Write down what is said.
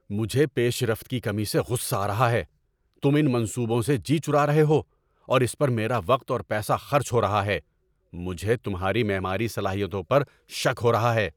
مجھے پیش رفت کی کمی سے غصہ آ رہا ہے۔ تم ان منصوبوں سے جی چرا رہے ہو اور اس پر میرا وقت اور پیسہ خرچ ہو رہا ہے۔ مجھے تمہاری معماری صلاحیتوں پر شک ہو رہا ہے۔